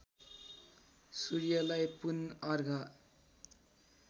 सूर्यलाई पुन अर्घ